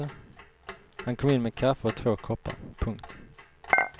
Han kom in med kaffe och två koppar. punkt